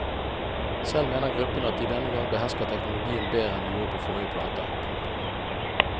Selv mener gruppen at de denne gang behersker teknologien bedre enn de gjorde på forrige plate. punktum